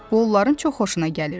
Bu onların çox xoşuna gəlirdi.